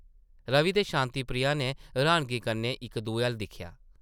रवि ते शांति प्रिया नै र्हानगी कन्नै इक दुए अʼल्ल दिक्खेआ ।